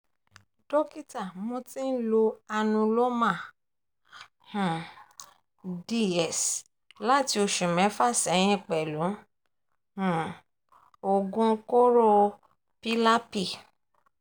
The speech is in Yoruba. dọ́kítà mo ti ń lo anuloma um ds láti oṣù mẹ́fà sẹ́yìn pẹ̀lú um oògun kóró pylapy